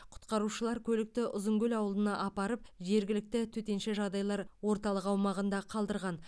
құтқарушылар көлікті ұзынкөл ауылына апарып жергілікті төтенше жағдайлар орталық аумағында қалдырған